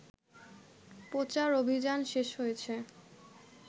প্রচার অভিযান শেষ হয়েছে